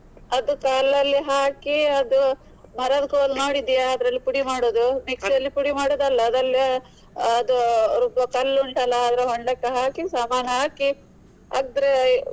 ಅದು ಕಲ್ಲಲ್ಲಿ ಹಾಕಿ ಅದು ಮರದ್ದು ಕೋಲು ನೋಡಿದ್ಯಾ ಅದ್ರಲ್ಲಿ ಪುಡಿ ಮಾಡುದು mixie ಯಲ್ಲಿ ಪುಡಿ ಮಾಡುದು ಅಲ್ಲ. ಅದೆಲ್ಲ ಅದು ರುಬ್ಬೊ ಕಲ್ಲು ಉಂಟಲ್ಲ ಅದ್ರ ಹೊಂಡಕ್ಕೆ ಹಾಕಿ ಸಮಾನ್ ಹಾಕಿ ಅದ್ರ.